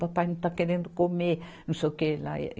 Papai não está querendo comer, não sei o que lá.